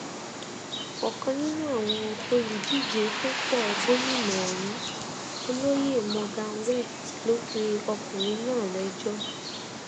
ọkan nínú àwọn olùdíje fúnpọ gómìnà ọhún olóyè morgan west ló pe ọkùnrin náà lẹjọ